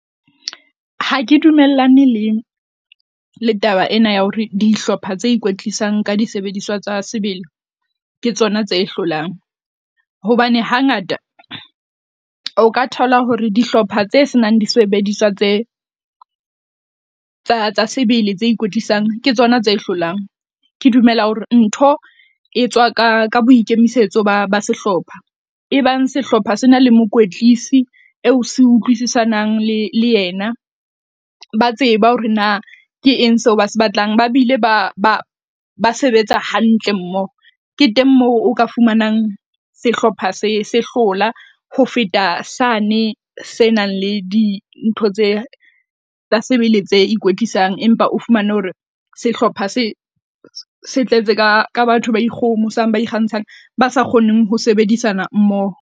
Ha ke dumellane le le taba ena ya hore dihlopha tse ikwetlisang ka disebediswa tsa sebele ke tsona tse hlolang, hobane hangata o ka thola hore dihlopha tse senang disebediswa tse tsa tsa sebele tse ikwetlisang ke tsona tse hlolang. Ke dumela hore ntho e tswa ka ka boikemisetso ba ba sehlopha e bang sehlopha sena le mokwetlise eo se utlwisisanang le le yena, ba tseba hore na ke eng seo ba se batlang ba bile ba ba sebetsa hantle mmoho. Ke teng moo o ka fumanang sehlopha se sehlola ho feta sane se nang le dintho tse tsa sebele tse ikwetlisang, empa o fumane hore sehlopha se se tletse ka ka batho ba ikgohomosang, ba ikgantshang ba sa kgoneng ho sebedisana mmoho.